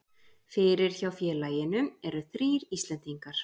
Fyrir hjá félaginu eru þrír Íslendingar.